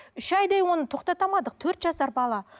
үш айдай оны тоқтата алмадық төрт жасар бала